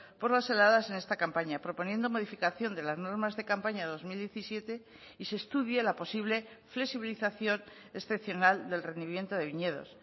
por las heladas en esta campaña proponiendo modificación de las normas de campaña dos mil diecisiete y se estudie la posible flexibilización excepcional del rendimiento de viñedos